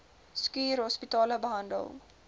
schuur hospitale behandel